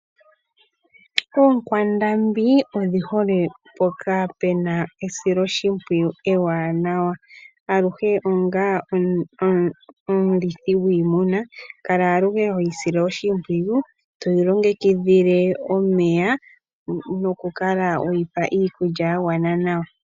Oonkwandambi odhi hole mpoka pu na esiloshimpwiyu ewanawa. Aluhe onga omulithi gwiimuna kala aluhe hoyi sile oshimpwiyu, toyi longekidhile nomeya nokukala weyi pa iikulya ya gwana.